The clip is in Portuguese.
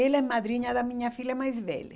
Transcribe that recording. Ela é madrinha da minha filha mais velha.